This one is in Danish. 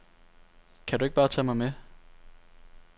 Kan du ikke bare tage mig med.